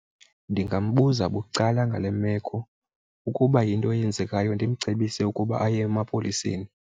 Ndingambuza bucala ngale meko, ukuba yinto eyenzekayo ndimcebise ukuba aye emapoliseni.